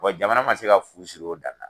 jamana man se ka fu siri o dan na.